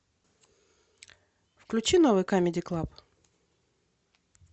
включи новый камеди клаб